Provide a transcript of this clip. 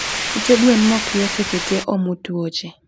Ute gwen mokywe seche tee omo tuoche